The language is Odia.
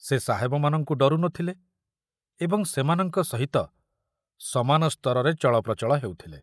ସେ ସାହେବମାନଙ୍କୁ ଡରୁ ନ ଥିଲେ ଏବଂ ସେମାନଙ୍କ ସହିତ ସମାନ ସ୍ତରରେ ଚଳପ୍ରଚଳ ହେଉଥିଲେ।